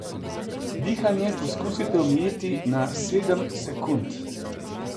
Dihanje poskusite omejiti na sedem sekund.